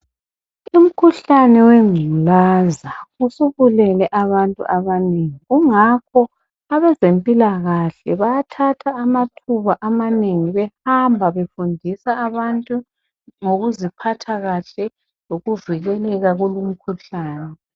Umkhuhlane weNgculaza usubulele abantu abanengi kungakho abezempilakahle bayathatha amathuba amanengi behamba befundisa abantu ngokuziphatha kahle lokuvikeka kwemikhuhlane.